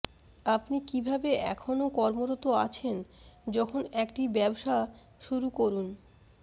আপনি কিভাবে এখনও কর্মরত আছেন যখন একটি ব্যবসা শুরু করুন